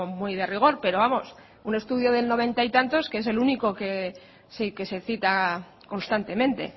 muy de rigor pero vamos un estudio del noventa y tantos que es el único que se cita constantemente